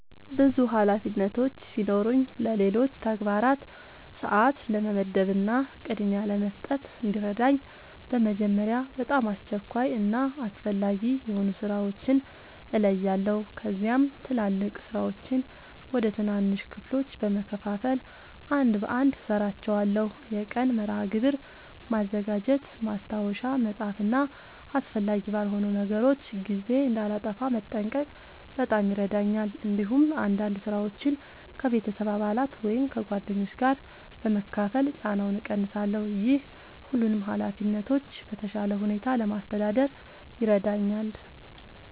ብዙ ኃላፊነቶች ሲኖሩኝ ለሌሎች ተግባራት ሰአት ለመመደብ እና ቅድሚያ ለመስጠት እንዲረዳኝ በመጀመሪያ በጣም አስቸኳይ እና አስፈላጊ የሆኑ ሥራዎችን እለያለሁ። ከዚያም ትላልቅ ሥራዎችን ወደ ትናንሽ ክፍሎች በመከፋፈል አንድ በአንድ እሠራቸዋለሁ። የቀን መርሃ ግብር ማዘጋጀት፣ ማስታወሻ መጻፍ እና አስፈላጊ ባልሆኑ ነገሮች ጊዜ እንዳላጠፋ መጠንቀቅ በጣም ይረዳኛል። እንዲሁም አንዳንድ ሥራዎችን ከቤተሰብ አባላት ወይም ከጓደኞች ጋር በመካፈል ጫናውን እቀንሳለሁ። ይህ ሁሉንም ኃላፊነቶች በተሻለ ሁኔታ ለማስተዳደር ይረዳኛል።